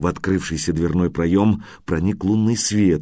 в открывшийся дверной проём праздник лунный свет